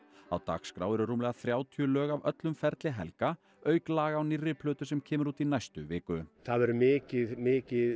á dagskrá eru rúmlega þrjátíu lög af öllum ferli Helga auk laga á nýrri plötu sem kemur út í næstu viku það verður mikið mikið